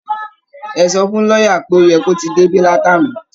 Ẹ sọ fún lọ́yà pé ó yẹ kó ti débi látàná